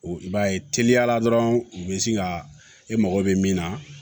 I b'a ye teliyala dɔrɔn u bɛ sin ka e mago bɛ min na